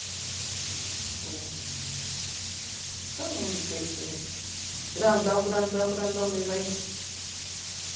Não sei o nome do peixe que... Grandão, grandão, grandão mesmo aí.